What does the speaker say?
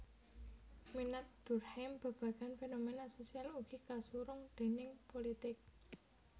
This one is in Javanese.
Minat Durkheim babagan fenomena sosial ugi kasurung déning pulitik